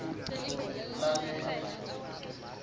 lalela